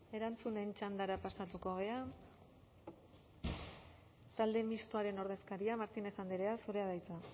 erantzunen txandara pasatuko gara talde mistoaren ordezkaria martínez andrea zurea da hitza